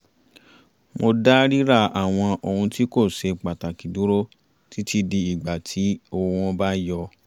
mo dá ríra àwọn ohun tí kò ṣe pàtàkì dúró títí di ìgbà tí owó wọn bá yọ